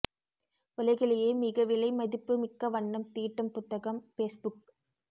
உலகிலேயே மிக விலை மதிப்பு மிக்க வண்ணம் தீட்டும் புத்தகம் பெஸ்புக்